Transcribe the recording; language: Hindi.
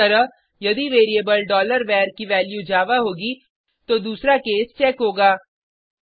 इसीतरह यदि वेरिएबल var की वैल्यू जावा होगी तो दूसरा केस चेक होगा